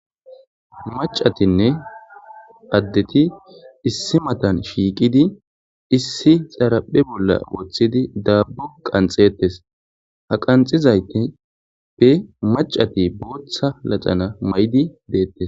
Macatinne addeti issi matan shiiqidi issi xaraphe bolla woththidi daabbu qanxetes ha qanxizayte pe macati booththa lacana maydi deettes.